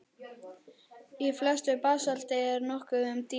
Í flestu basalti er nokkuð um díla.